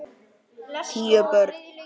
Tíu börn.